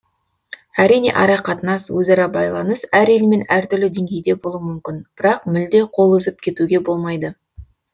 әрине арақатынас өзара байланыс әр елмен әртүрлі деңгейде болуы мүмкін бірақ мүлде қол үзіп кетуге болмайды